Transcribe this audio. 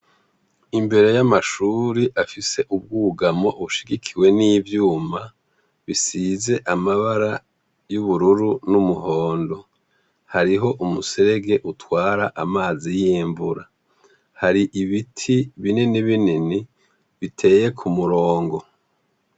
Imbere y'amashure afise ubwugamo bushigikiwe n'ivyuma bisize amabara y'ubururu n'umuhondo, hariho umuserege utwara amazi y'imvura, hari ibiti binini binini biteye k'umurongo.